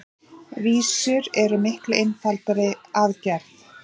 Vísur eru miklu einfaldari að gerð.